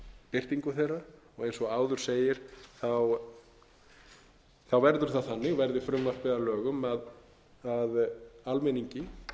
birtingu þeirra og eins og áður segir verður það þannig verði frumvarpið að lögum að almenningi